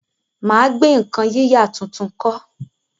mà á gbé nǹkan yíyà tuntun kọ́.